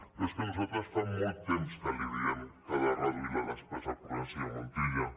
però és que nosaltres fa molt temps que li diem que ha de reduir la despesa corrent senyor montilla